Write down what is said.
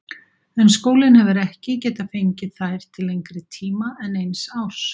En skólinn hefur ekki getað fengið þær til lengri tíma en eins árs.